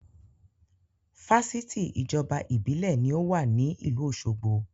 Fáṣítì ìjọba Ìbílẹ̀ ní ó wà ní ìlú òsogbo